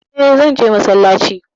E, zan je masallaci.